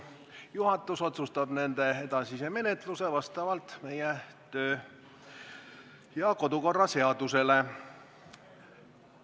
Juhatus otsustab nende edasise menetluse vastavalt meie kodu- ja töökorraseadusele.